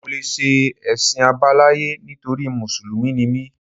Mi ò lè ṣe Ẹ̀sìn àbáláyé nítorí Mùsùlùmí ni mí